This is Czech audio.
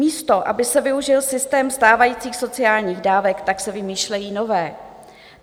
Místo aby se využil systém stávajících sociálních dávek, tak se vymýšlejí nové.